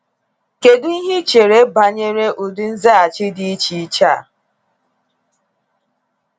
Kedu ihe i chere banyere ụdị nzaghachi dị dị iche iche a?